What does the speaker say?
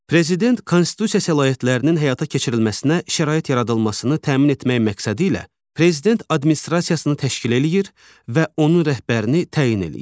Prezident konstitusiya səlahiyyətlərinin həyata keçirilməsinə şərait yaradılmasını təmin etmək məqsədi ilə Prezident administrasiyasını təşkil eləyir və onun rəhbərini təyin eləyir.